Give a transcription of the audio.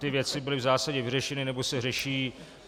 Ty věci byly v zásadě vyřešeny nebo se řeší.